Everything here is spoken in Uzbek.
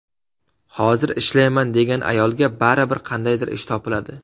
Hozir ishlayman degan ayolga baribir qandaydir ish topiladi.